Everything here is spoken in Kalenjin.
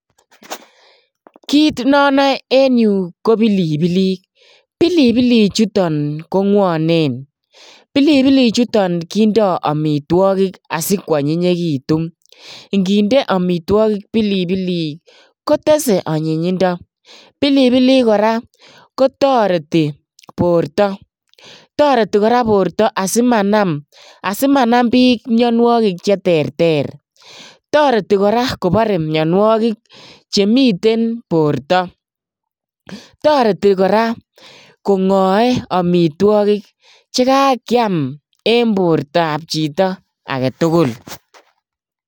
Klit na nae eng yuu koo pilipilik, pilipilik chutak koo ngwanen pilpilik chutak kendoi amitwakik asikwonyinyitu nginde amitwakik pilipilik kotese anyinyinda pilipilik kora kotareti porta tareti porta sii manam piik mianwakik cheterter toretii kora kopare mianwakik chemite porta toretii kora kongae amitwaki chekakeam ing eng porta ab chito aketugul